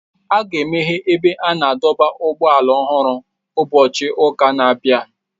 A ga-emeghe ebe a na-adọba ụgbọala ọhụrụ ụbọchị ụka na-abịa.